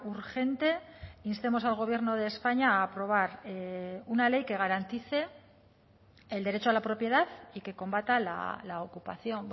urgente instemos al gobierno de españa a aprobar una ley que garantice el derecho a la propiedad y que combata la ocupación